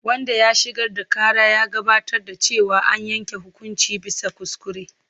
Wanda ya shigar da ƙara ya gabatar da cewa an yanke hukunci bisa kuskure.